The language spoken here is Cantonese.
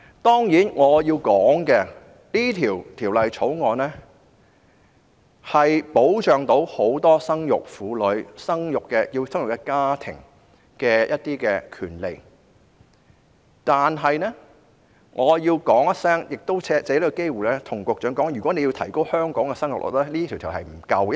當然，《條例草案》能夠保障很多生育婦女、要生育的家庭的一些權利，但我要說一聲，亦藉此機會對局長說，如果要提高香港的生育率，這項條例並不足夠。